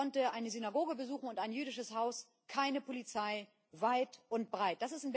Ich konnte eine Synagoge besuchen und ein jüdisches Haus keine Polizei weit und breit.